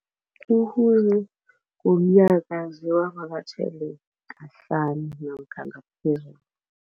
Namkha ngaphezulu.